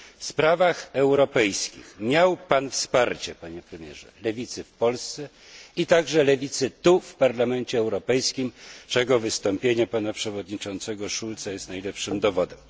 W sprawach europejskich miał Pan wsparcie, Panie Premierze, lewicy w Polsce, a także lewicy tu, w Parlamencie Europejskim, czego wystąpienie pana przewodniczącego Schulza jest najlepszym dowodem.